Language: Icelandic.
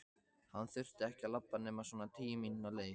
Hann þurfti ekki að labba nema svona tíu mínútna leið.